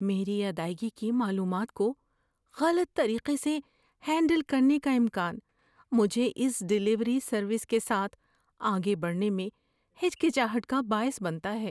میری ادائیگی کی معلومات کو غلط طریقے سے ہینڈل کا امکان مجھے اس ڈیلیوری سروس کے ساتھ آگے بڑھنے میں ہچکچاہٹ کا باعث بنتا ہے۔